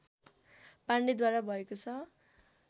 पाण्डेद्वारा भएको छ